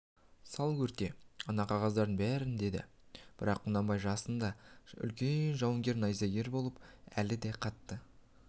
сал өрте ана қағаздардың бәрін деді бірақ құнанбай жасында үлкен жауынгер найзагер болған әлі де қатты